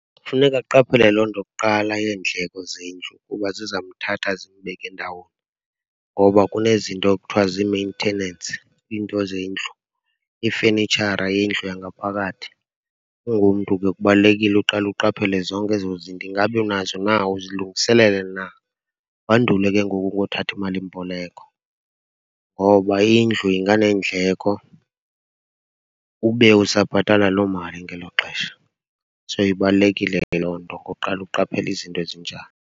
Funeka aqaphele loo nto kuqala yeendleko zendlu uba zizamthatha zimbeke ndawoni. Ngoba kunezinto ekuthiwa zii-maintenance, iinto zendlu, ifenitshara yendlu eyangaphakathi. Ungumntu ke kubalulekile uqale uqaphele zonke ezo zinto. Ingaba unazo na, uzilungiselele na? Wandule ke ngoku ngothatha imalimboleko ngoba indlu inganeendleko ube usabhatala loo mali ngelo xesha. So, ibalulekile ke loo nto ngokuqala aqaphele izinto ezinjalo.